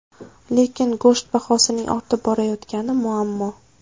Lekin go‘sht bahosining ortib borayotgani muammo.